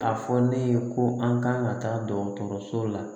A fɔ ne ye ko an kan ka taa dɔgɔtɔrɔso la